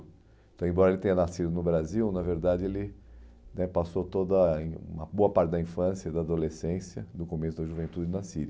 Então, embora ele tenha nascido no Brasil, na verdade, ele né passou toda uma boa parte da infância e da adolescência, no começo da juventude, na Síria.